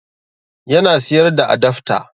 Yana siyar da adafta